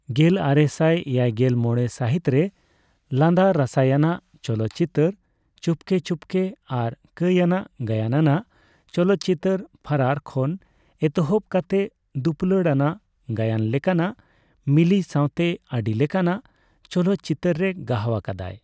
ᱜᱮᱞᱟᱨᱮᱥᱟᱭ ᱮᱭᱟᱭᱜᱮᱞ ᱢᱚᱲᱮ ᱥᱟᱹᱦᱤᱛ ᱨᱮ ᱞᱟᱸᱫᱟ ᱨᱟᱥᱟᱣᱟᱱᱟᱜ ᱪᱚᱞᱚᱛ ᱪᱤᱛᱟᱹᱨ ᱪᱩᱯᱠᱮ ᱪᱩᱯᱠᱮ ᱟᱨ ᱠᱟᱹᱭᱼᱟᱱᱟᱜ ᱜᱟᱭᱟᱱ ᱟᱱᱟᱜ ᱪᱚᱞᱚᱛᱪᱤᱛᱟᱹᱨ ' ᱯᱷᱟᱨᱟᱨ ' ᱠᱷᱚᱱ ᱮᱛᱚᱦᱚᱵ ᱠᱟᱛᱮ ᱫᱩᱯᱩᱞᱟᱹᱲ ᱟᱱᱟᱜ ᱜᱟᱭᱟᱱ ᱞᱮᱠᱟᱱᱟᱜ ' ᱢᱤᱞᱤ ' ᱥᱟᱸᱣᱛᱮ ᱟᱹᱰᱤ ᱞᱮᱠᱟᱱᱟᱜ ᱪᱚᱞᱚᱛ ᱪᱤᱛᱟᱹᱨ ᱨᱮ ᱜᱟᱦᱟᱣ ᱟᱠᱟᱫᱟᱭ ᱾